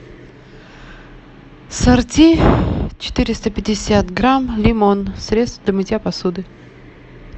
сорти четыреста пятьдесят грамм лимон средство для мытья посуды